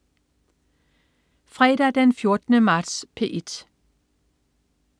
Fredag den 14. marts - P1: